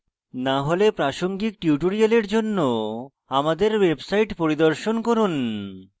না হলে প্রাসঙ্গিক tutorial জন্য আমাদের website পরিদর্শন করুন